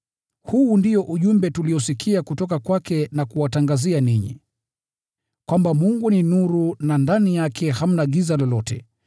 Huu ndio ujumbe tuliosikia kutoka kwake na kuwatangazia ninyi: kwamba Mungu ni nuru na ndani yake hamna giza lolote.